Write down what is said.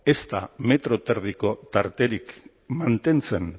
ez da metro eta erdiko tarterik mantentzen